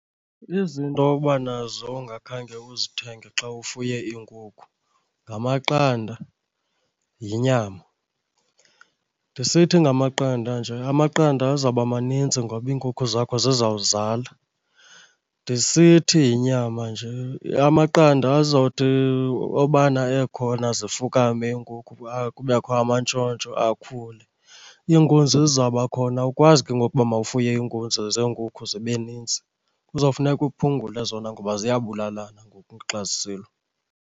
Izinto oba nazo ungakhange uzithenge xa ufuye iinkukhu ngamaqanda, yinyama. Ndisithi ngamaqanda nje amaqanda azaba maninzi ngoba iinkukhu zakho zizawuzala. Ndisithi yinyama nje amaqanda azawuthi obana ekhona zifukame iinkukhu kubekho amantshontsho akhule, iinkunzi zizawuba khona. Awukwazi ke ngoku uba mawufuye iinkunzi zeenkukhu zibe nintsi, kuzawufuneka uphungule zona ngoba ziyabulalana ngoku xa zisilwa.